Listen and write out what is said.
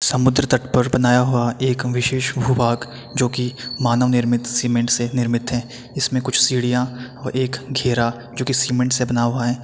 समुद्र तट पर बनाया हुआ एक विशेष भू वाक जो की मानव निर्मित सीमेंट से निर्मित है इसमें कुछ सीढ़ियाँ और एक घेरा जो की सीमेंट से बना हुआ हैं।